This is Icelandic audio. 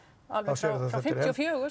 alveg frá fimmtíu og fjögur